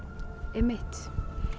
einmitt